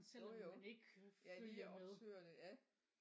Jo jo ja lige opsøger det ja